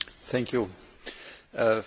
Frau Präsidentin, Herr Kommissar!